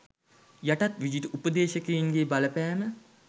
යටත් විජිත උපදේශකයින් ගේ බලපෑම